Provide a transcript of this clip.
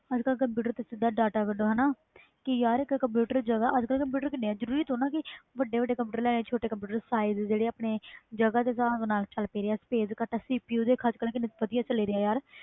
ਅਜ ਕਲ ਕੰਪਿਊਟਰ ਵਿੱਚੋ ਸਿੱਧਾ ਕੱਢੋ ਕਿ ਯਾਰ ਅਜੇ ਕਲ ਜਗ੍ਹਾ ਕਿੰਨੇ ਕੰਪਿਊਟਰ ਜਰੂਰੀ ਥੋੜ੍ਹਾ ਵੱਡੇ ਵੱਡੇ ਕੰਪਿਊਟਰ ਲੈਣੇ ਛੋਟੇ ਕੰਪਿਊਟਰ size ਜਿਹੜੇ ਆਪਣੇ ਜਗ੍ਹਾ ਦੇ ਹਿਸਾਬ ਨਾਲ sapce ਕੱਟ CPU ਕਿੰਨੇ ਵਧੀਆ ਚਲੇ